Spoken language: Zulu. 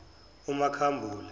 umakhambule